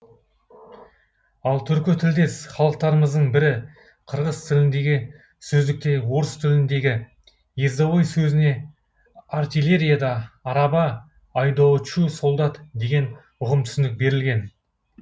ал түркі тілдес халықтарымыздың бірі қырғыз тіліндегі сөздікте орыс тіліндегі ездовой сөзіне артиллерияда араба айдоочу солдат деген ұғым түсінік берілген